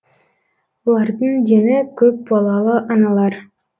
олардың дені көпбалалы аналар